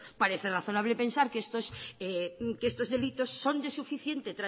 parece razonable pensar que estos delitos son de suficiente